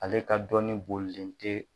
Ale ka dɔnni bolilen tɛ